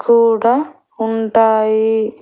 కూడా ఉంటాయి